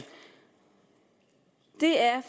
det er